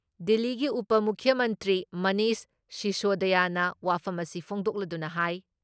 ꯗꯤꯜꯂꯤꯒꯤ ꯎꯄ ꯃꯨꯈ꯭ꯌ ꯃꯟꯇ꯭ꯔꯤ ꯃꯅꯤꯁ ꯁꯤꯁꯣꯗꯤꯌꯥꯅ ꯋꯥꯐꯝ ꯑꯁꯤ ꯐꯣꯡꯗꯣꯛꯂꯗꯨꯅ ꯍꯥꯏ